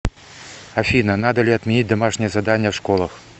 афина надо ли отменить домашние задания в школах